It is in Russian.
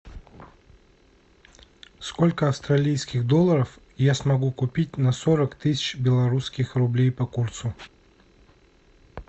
сколько австралийских долларов я смогу купить на сорок тысяч белорусских рублей по курсу